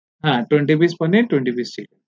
হ্যা twenty pice paneer আর twenty pice